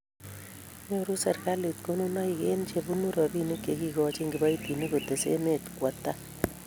nyoru serikalit konunoik eng' che bunu robinik che kikochini kiboitinik kotes emet kowo tai.